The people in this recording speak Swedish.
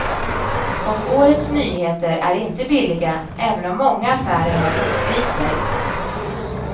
Och årets nyheter är inte billiga, även om många affärer har lockpriser.